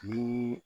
Bi